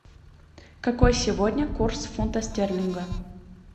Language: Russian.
какой сегодня курс фунта стерлинга